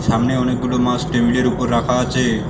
সামনে অনেকগুলো মাছ টেবিলের উপর রাখা আছে।